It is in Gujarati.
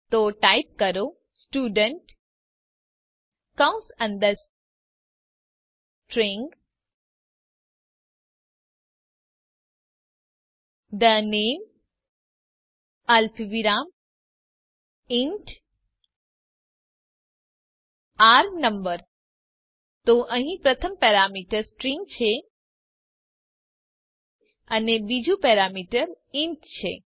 તો ટાઇપ કરો સ્ટુડન્ટ કૌસ અંદર સ્ટ્રીંગ the name અલ્પવિરામ ઇન્ટ r no તો અહીં પ્રથમ પેરામીટર સ્ટ્રીંગ છે અને બીજું પેરામીટર ઇન્ટ છે